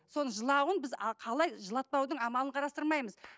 соның жылауын біз қалай жылатпаудың амалын қарастырмаймыз